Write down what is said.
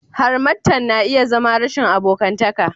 harmattan na iya zama rashin abokantaka